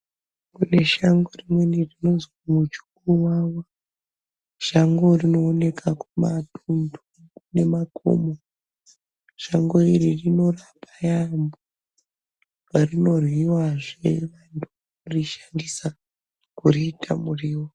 Kune shango rimweni rinozwi muchukuvava, shango rinooneka kumatunhu kune makomo. Shango iri rinorapa yaamho, Apa rinoryiwazve kana kurishandisa kuriita muriwo.